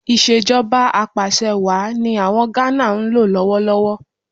Ìṣèjọba Apàṣẹwàá ni àwọn Gánà ń lò lọ́wọ́ lọ́wọ́